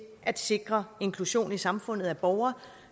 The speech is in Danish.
at sikre inklusion i samfundet af borgere